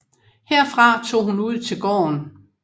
Herfra tog hun ud til gården